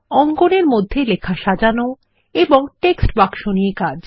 অঙ্কন এর মধ্যে লেখা সাজানো এবং টেক্সট বাক্স নিয়ে কাজ